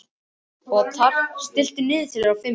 Othar, stilltu niðurteljara á fimm mínútur.